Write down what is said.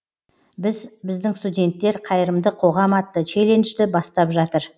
біз біздің студенттер қайырымды қоғам атты челленджді бастап жатыр